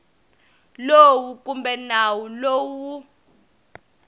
lowu kumbe nawu lowu wu